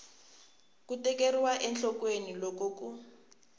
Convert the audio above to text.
ku tekeriwa enhlokweni loko ku